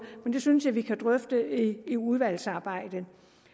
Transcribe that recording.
men det synes jeg vi kan drøfte i udvalgsarbejdet